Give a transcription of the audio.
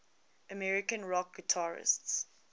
american rock guitarists